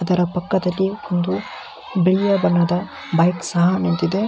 ಅದರ ಪಕ್ಕದಲ್ಲಿ ಒಂದು ಬಿಳಿಯಾದ ಒಂದು ಬೈಕ್ ಸಹ ನಿಂತಿದೆ.